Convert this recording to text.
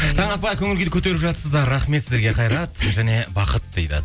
таң атпай көңіл күйді көтеріп жатсыздар рахмет сіздерге қайрат және бақыт дейді